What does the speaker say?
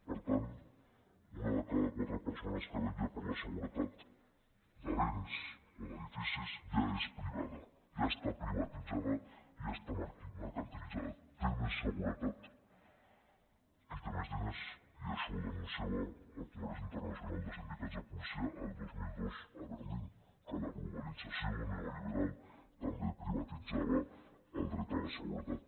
per tant una de cada quatre persones que vetlla per la seguretat de béns o d’edificis ja és privada ja està privatitzada ja està mercantilitzada té més seguretat qui té més diners i això ho denunciava el congrés internacional de sindicats de policia el dos mil dos a berlín que la globalització neoliberal també privatitzava el dret a la seguretat